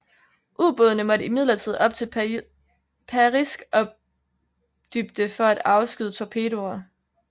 Ubådene måtte imidlertid op til periskopdybde for at afskyde torpedoer